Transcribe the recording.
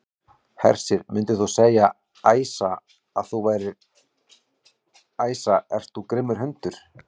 Hersir: Myndir þú segja, Æsa, að þú værir, Æsa ert þú grimmur hundur?